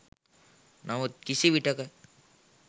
නමුත් කිසි විටක